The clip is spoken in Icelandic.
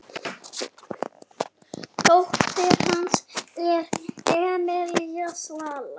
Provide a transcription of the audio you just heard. Dóttir hans er Emelía Svala.